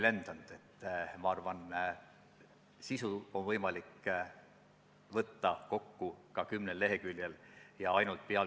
Nagu ka ministeeriumi esindaja kinnitas, see on üsna kulukas, see nõuab lisatöötajate töölevõtmist.